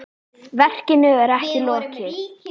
Verkinu er ekki lokið.